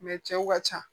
cɛw ka ca